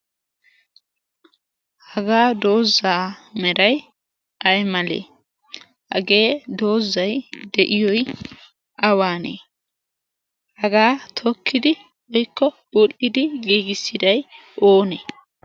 hagaa doozzaa merai ai malee hagee doozzai de'iyoi awaanee hagaa tokkidi oikko budhdidi giigissidai oonee?